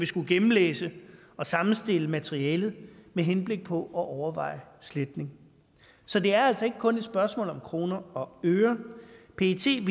skulle gennemlæse og sammenstille materialet med henblik på at overveje sletning så det er altså ikke kun et spørgsmål om kroner og øre pet ville